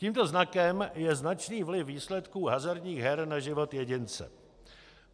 Tímto znakem je značný vliv výsledků hazardních her na život jedince.